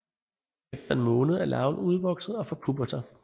Efter en måned er larven udvokset og forpupper sig